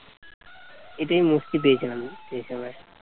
এটাই মুক্তি পেয়েছিলাম মুক্তি হিসাবে